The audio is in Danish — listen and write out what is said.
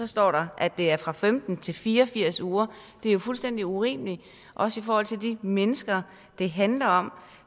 står der at det er fra femten til fire og firs uger det er jo fuldstændig urimeligt også i forhold til de mennesker det handler om